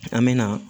An bɛ na